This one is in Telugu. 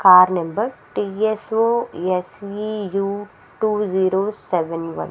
Car number T S O S V U two zero seven one .